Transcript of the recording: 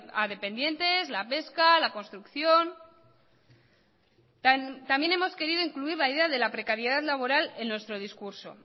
a dependientes la pesca la construcción también hemos querido incluir la idea de la precariedad laboral en nuestro discurso